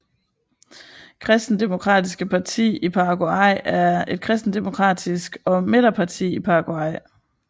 Kristendemokratiske Parti i Paraguay er et kristendemokratisk og midterparti i Paraguay